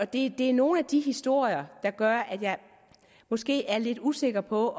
det er nogle af de historier der gør at jeg måske er lidt usikker på